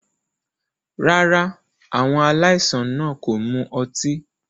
Rárá, àwọn aláìsàn náà kò mu ọtí.